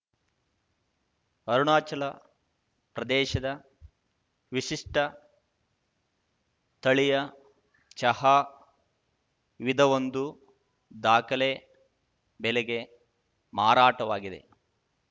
ಅರುಣಾಚಲ ಪ್ರದೇಶದ ವಿಶಿಷ್ಟತಳಿಯ ಚಹಾ ವಿಧವೊಂದು ದಾಖಲೆ ಬೆಲೆಗೆ ಮಾರಾಟವಾಗಿದೆ